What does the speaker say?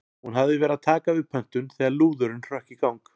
Hún hafði verið að taka við pöntun þegar lúðurinn hrökk í gang.